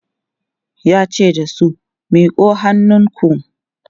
yace da su "miƙo hannunku!"